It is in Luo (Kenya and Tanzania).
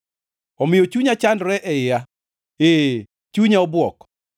Omiyo chunya chandore e iya, ee, chunya obwok.